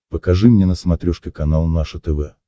покажи мне на смотрешке канал наше тв